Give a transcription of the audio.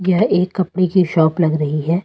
ये एक कपड़े की शॉप लग रही है।